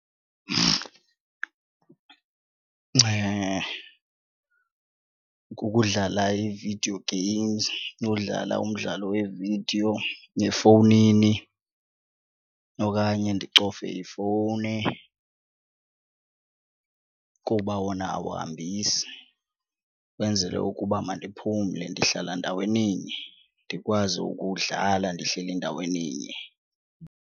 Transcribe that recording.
Kukudlala ii-video games nodlala umdlalo wevidiyo efowunini okanye ndicofe ifowuni kuba wona awuhambisi, kwenzele ukuba mandiphumle ndihlala ndaweninye ndikwazi ukuwudlala ndihleli ndaweninye.